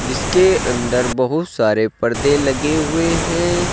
इसके अंदर बहुत सारे पर्दे लगे हुए हैं।